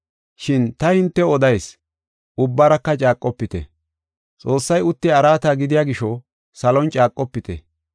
Shin ta hintew odayis; ubbaraka caaqofite. Xoossay uttiya araata gidiya gisho, salon caaqofite.